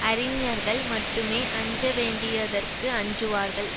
அறிஞர்கள் மட்டுமே அஞ்ச வேண்டியதற்கு அஞ்சுவார்கள்